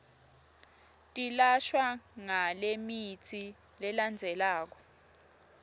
tilashwa ngalemitsi lelandzelako